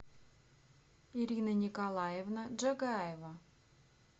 ирина николаевна джагаева